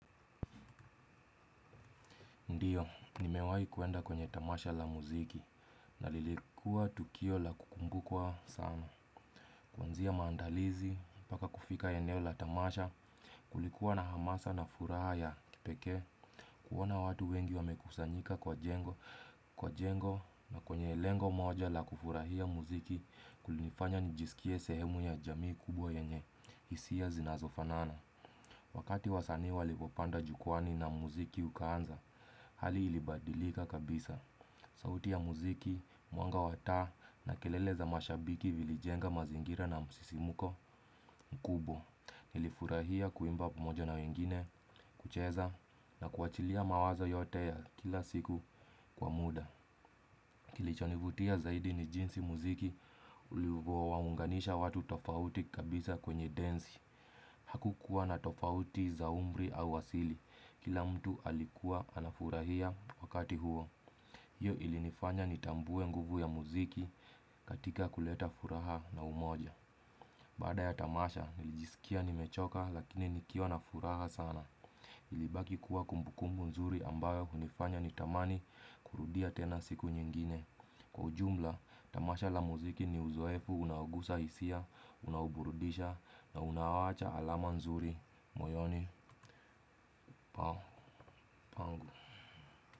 Ndiyo, ni mewai kuenda kwenye tamasha la muziki na lilikua tukio la kukumbukwa sana. Kuanzia maandalizi, paka kufika eneo la tamasha, kulikuwa na hamasa na furaha ya kipekee, kuona watu wengi wamekusanyika kwa jengo na kwenye lengo moja la kufurahia muziki kulifanya nijisikie sehemu ya jamii kubwa yenye, hisia zinazofanana. Wakati wasanii walivyopanda jukwaani na muziki ukaanza, hali ilibadilika kabisa. Sauti ya muziki, mwanga wa taa na kelele za mashabiki vilijenga mazingira na msisimuko mkubwa. Nilifurahia kuimba pamoja na wengine, kucheza na kuachilia mawazo yote ya kila siku kwa muda. Kilichonivutia zaidi ni jinsi muziki ulivyo waunganisha watu tofauti kabisa kwenye densi. Hakukuwa na tofauti za umri au wasili, kila mtu alikuwa anafurahia wakati huo. Hiyo ilinifanya ni tambue nguvu ya muziki katika kuleta furaha na umoja. Bada ya tamasha, nijisikia ni mechoka lakini nikiwa na furaha sana. Ilibaki kuwa kumbukumbu nzuri ambayo hunifanya ni tamani kurudia tena siku nyingine. Kwa ujumla, tamasha la muziki ni uzoefu unaogusa hisia, unaoburudisha na unawacha alama nzuri. Moyoni, pao, pangu.